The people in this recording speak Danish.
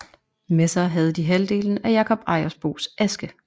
Med sig havde de halvdelen af Jakob Ejersbos aske